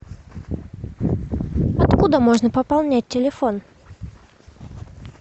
откуда можно пополнять телефон